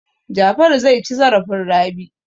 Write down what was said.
Jafaru zai ci zarafin Rabi.